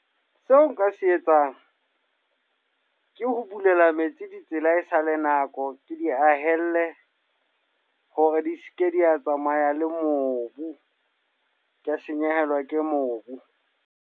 Seo nka se etsang, ke ho bulela metsi di tsela e sale nako. Ke di ahele hore di seke di a tsamaya le mobu. Ka senyehelwa ke mobu.